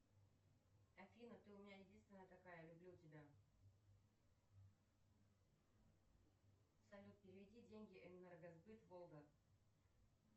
афина ты у меня единственная такая люблю тебя салют переведи деньги энергосбыт волга